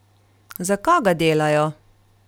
Za koga delajo?